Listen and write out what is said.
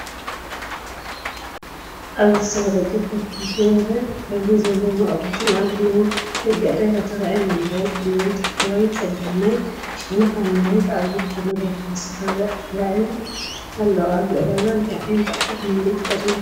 ኣብዚ ዝተፈላለዩ ጨርቅታትን ፍኹስ ዝበለ ሕብሪ ዘለዎም ኣቑሑትን ኣብ ናይ ደገ ዕዳጋ ተራእዮም ኣለዉ። ኣብ ቅድሚኦም ኣብ ታሕተዋይ ጸጋማይ ሸነኽ ኣብ መሬት ኣብ ዝርከቡ መደርደሪታት ዝተፈላለዩ ኣቑሑት ተራእዮም ኣለዉ። ኣብዚ ዕዳጋ እንታይ ዓይነት ኣቑሑት ንምርኢት ቀሪቡ ኣሎ?